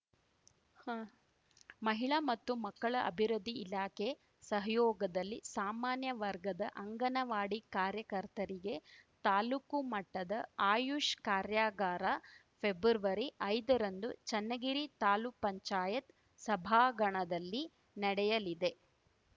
ಮಹಿಳಾ ಮತ್ತು ಮಕ್ಕಳ ಅಭಿವೃದ್ದಿ ಇಲಾಖೆ ಸಹಯೋಗದಲ್ಲಿ ಸಾಮಾನ್ಯ ವರ್ಗದ ಅಂಗನವಾಡಿ ಕಾರ್ಯಕರ್ತರಿಗೆ ತಾಲೂಕು ಮಟ್ಟದ ಆಯುಷ್‌ ಕಾರ್ಯಾಗಾರ ಫೆಬ್ರವರಿಐದರಂದು ಚೆನ್ನಗಿರಿ ತಾಲ್ಲುಕ್ ಪಂಚಾಯತ್ ಸಭಾಗಣದಲ್ಲಿ ನಡೆಯಲಿದೆ